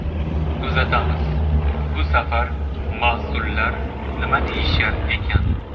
Kuzatamiz, bu safar mas’ullar nima deyishar ekan?